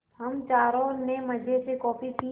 हम चारों ने मज़े से कॉफ़ी पी